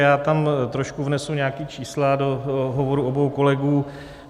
Já tam trošku vnesu nějaká čísla, do hovoru obou kolegů.